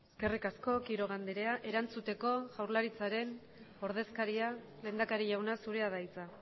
eskerrik asko quiroga andrea erantzuteko jaurlaritzaren ordezkaria lehendakari jauna zurea da hitza